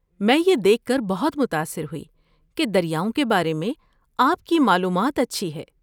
میں یہ دیکھ کر بہت متاثر ہوئی کہ دریاؤں کے بارے میں آپ کی معلومات اچھی ہے۔